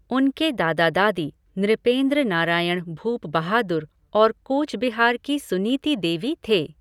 उनके दादा दादी नृपेंद्र नारायण भूप बहादुर और कूचबिहार की सुनीति देवी थे।